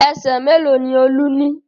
Ẹsẹ̀ mélòó ni Olú ní?